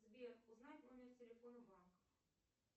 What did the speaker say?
сбер узнать номер телефона банка